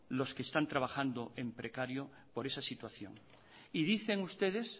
los que están trabajando en precario por esa situación y dicen ustedes